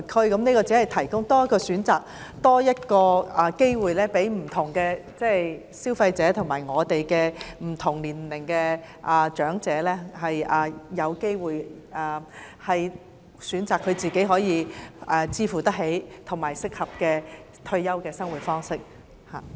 我只是建議多提供一個選擇、機會，讓不同消費者及不同年齡的長者按個人負擔能力，選擇適合自己的退休生活方式。